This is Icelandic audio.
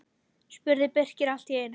spurði Birkir allt í einu.